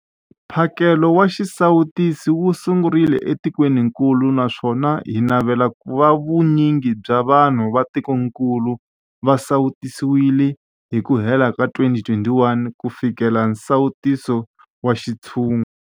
Mphakelo wa xisawutisi wu sungurile etikwenikulu naswona hi navela ku va vu nyingi bya vanhu va tikokulu va sawutisiwile hi ku hela ka 2021 ku fikelela nsawuto wa xintshungu.